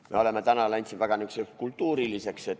Me oleme täna läinud siin väga kultuuriliseks.